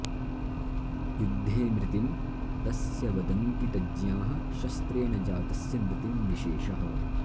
युद्धे मृतिं तस्य वदन्ति तज्ज्ञाः शस्त्रेण जातस्य मृतिं विशेषः